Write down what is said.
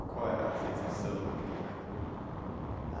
E qual é a sensação de tocar em público? Ah